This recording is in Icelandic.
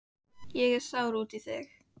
Ég er sár út í þig.